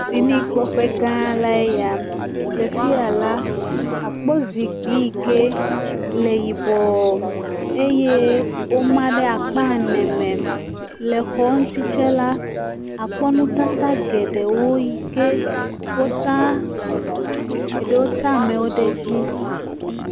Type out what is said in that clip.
Aboƒoƒo le edzi yim eyata ame geɖe bubɔnɔ anyi hele ekpɔ alesi wole atsã la ɖe le bɔluƒoƒe la eye woƒe didi enye be yewoƒe amewo naɖu dzi.